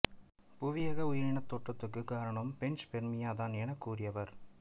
புவியக உயிரினத் தோற்றத்துக்குக் காரணம் பேன்சுபெர்மியா தான் எனக் கூறியவர்